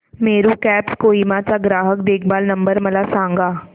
Meru cabs Kohima चा ग्राहक देखभाल नंबर मला सांगा